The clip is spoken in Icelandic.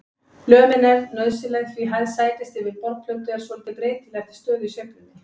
Lömin er nauðsynleg því hæð sætis yfir borðplötu er svolítið breytileg eftir stöðu í sveiflunni.